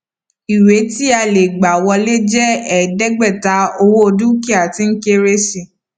ìwé tí a lè gbà wọlé jẹ ẹẹdẹgbẹta owó dúkìá tí ń kéré sí i